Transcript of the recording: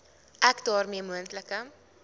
ek daarmee moontlike